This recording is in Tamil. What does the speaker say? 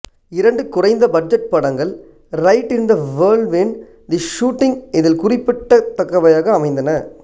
இரண்டு குறைந்த பட்ஜெட் படங்கள் ride in the whirlwind the shooting இதில் குறிப்பிடத்தக்கவையாய் அமைந்தன